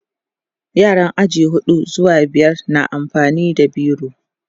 yaran aji huɗu zuwa biyar na amfani da biro